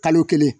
Kalo kelen